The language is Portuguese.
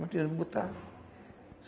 Não tinha onde botar.